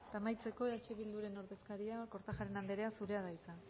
amaitzeko eh bilduren ordezkaria kortajarena anderea zurea da hitza